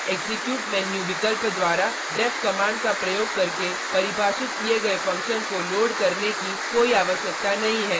स्पष्टतया execute menu विकल्प द्वारा deff कमांड का प्रयोग करके परिभाषित किए गए फंक्शन को लोड करने की कोई आवश्यकता नहीं है